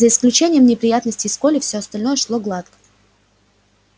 за исключением неприятностей с колли всё остальное шло гладко